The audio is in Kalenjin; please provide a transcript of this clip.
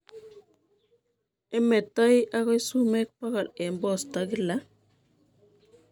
Imetoi akoi sumeek bokol eng' posto kila